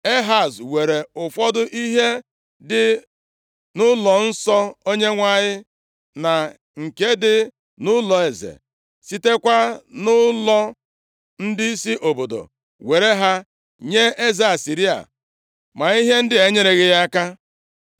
Ehaz weere ụfọdụ ihe dị nʼụlọnsọ Onyenwe anyị, na nke dị nʼụlọeze, sitekwa na nʼụlọ ndịisi obodo, were ha nye eze Asịrịa, ma ihe ndị a enyereghị ya aka.